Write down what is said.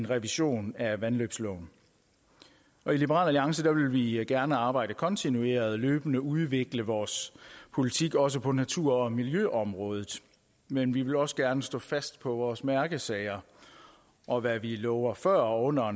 revision af vandløbsloven i liberal alliance vil vi gerne arbejde kontinuert og løbende udvikle vores politik også på natur og miljøområdet men vi vil også gerne stå fast på vores mærkesager og hvad vi lover før og under